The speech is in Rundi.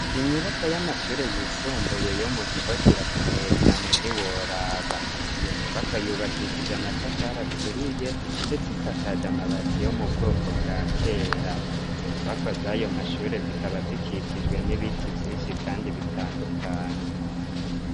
Inyubakwa y'amashure yisumbuye yo mu Gihosha irakomeye cane ntiworaba. Iyo nyubakwa yubakishije amatafari aturiye ndetse isakaje amabati yo mu bwoko bwa kera. Izo nyubako z'ayo mashure zikaba zikikijwe n'ibiti vynshi kandi bitandukanye.